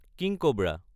king cobra